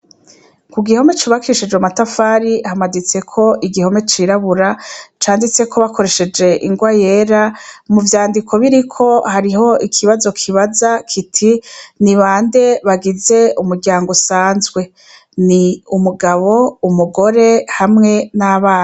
Ku gihome cubakishije matafari hamaditseko igihome cirabura canditse ko bakoresheje ingwa yera mu vyandiko biriko hariho ikibazo kibaza kiti ni bande bagize umuryango usanzwe ni umugabo umugore hamwe n'abana.